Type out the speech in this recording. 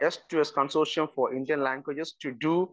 speaker 1 S to S consortium for Indian languages to do